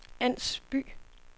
Ans By